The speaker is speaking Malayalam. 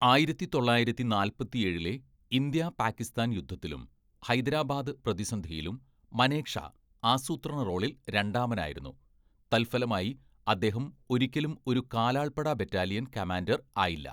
ആയിരത്തി തൊള്ളായിരത്തി നാല്പത്തിഏഴിലെ ഇന്ത്യ പാകിസ്ഥാൻ യുദ്ധത്തിലും ഹൈദരാബാദ് പ്രതിസന്ധിയിലും മനേക്ഷാ ആസൂത്രണ റോളിൽ രണ്ടാമനായിരുന്നു, തൽഫലമായി, അദ്ദേഹം ഒരിക്കലും ഒരു കാലാൾപ്പട ബറ്റാലിയൻ കമാൻഡർ ആയില്ല.